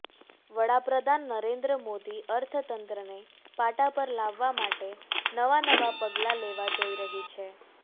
વડાપ્રધાન નરેન્દ્ર મોદી અર્થતંત્રને પાટા પર લાવવા માટે નવા નવા પગલા લેવા જઇ રહી છે